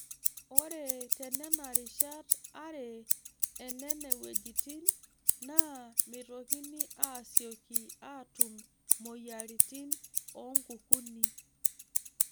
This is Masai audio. Ore tenena rishat are enene wuejitin naa meitokini aasiyioki aatum mmoyiaritin o nkukuni.